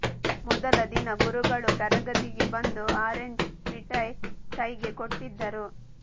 ಮೊದಲ ದಿನ ಗುರುಗಳು ತರಗತಿಗೆ ಬಂದು ಆರೆಂಜ್ ಮಿಠಾಯಿ ಕೈಗೆ ಕೊಟ್ಟಿದ್ದರು